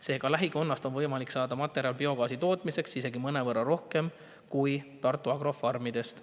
Seega, lähikonnast on võimalik saada materjali biogaasi tootmiseks isegi mõnevõrra rohkem kui Tartu Agro farmidest.